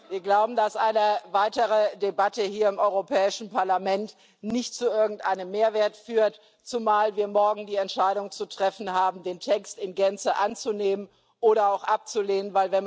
wir glauben, dass eine weitere Debatte hier im Europäischen Parlament nicht zu irgendeinem Mehrwert führt, zumal wir morgen die Entscheidung zu treffen haben, den Text in Gänze anzunehmen oder abzulehnen.